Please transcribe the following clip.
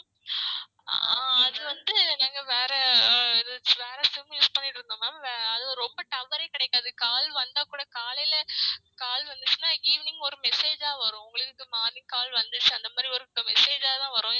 ஆஹ் அது வந்து நாங்க வேற SIMuse பன்னிட்டு இருந்தோம் அது ரொம்ப tower ஏ கிடைக்காது call வந்தா கூட காலைலே call வந்துச்சின்னா evening ஒரு Message ஆ வரும் உங்களுக்கு morning call வந்துச்சி அந்த மாதிரி ஒரு message ஆ தான் வரும்